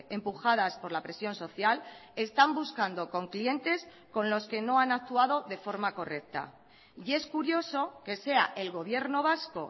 empujadas por la presión social están buscando con clientes con los que no han actuado de forma correcta y es curioso que sea el gobierno vasco